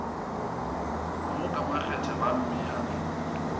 mo ka makgethe ba mmea